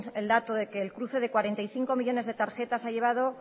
el dato de que el cruce de cuarenta y cinco millónes de tarjetas llevado